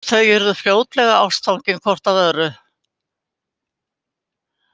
Þau urðu fljótlega ástfangin hvort af öðru.